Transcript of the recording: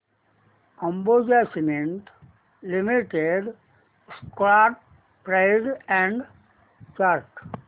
Ambuja cement limited stock price and chart